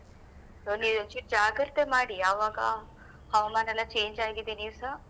So ನೀವ ಒಂಚೂರು ಜಾಗ್ರತೆ ಮಾಡಿ ಆವಾಗ. ಹವಾಮಾನ ಎಲ್ಲ change ಆಗಿದೆ ನೀವುಸ .